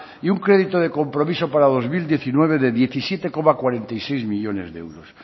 y un crédito de compromiso para dos mil diecinueve de diecisiete coma cuarenta y seis millónes de euros